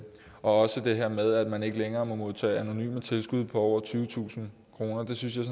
også det her med at man ikke længere må modtage anonyme tilskud på over tyvetusind kroner det synes jeg